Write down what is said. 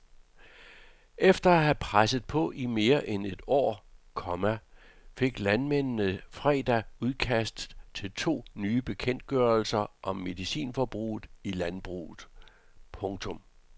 Efter at have presset på i mere end et år, komma fik landmændene fredag udkastet til to nye bekendtgørelser om medicinforbrug i landbruget. punktum